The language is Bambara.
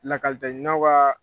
Lakalitaɲinaw ka